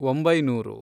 ಒಂಬೈನೂರು